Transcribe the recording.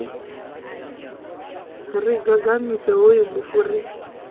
ri gagamise hoyu mufu ri